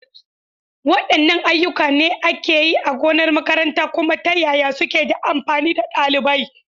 Waɗanne ayyuka ne ake yi a gonar makaranta, kuma ta yaya suke da amfani ga ɗalibai?